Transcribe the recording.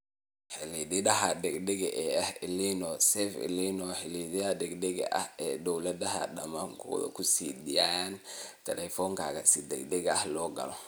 Xidhiidhada degdega ah ee El Niño Save El Niño xidhiidhyada degdega ah ee ay dawladaha degmadu ku sii daayaan teleefankaaga si degdeg ah loo galo.